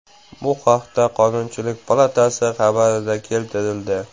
Bu haqda Qonunchilik palatasi xabarida keltirildi .